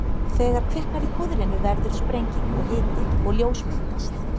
Þegar kviknar í púðrinu verður sprenging og hiti og ljós myndast.